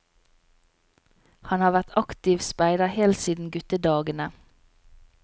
Han har vært aktiv speider helt siden guttedagene.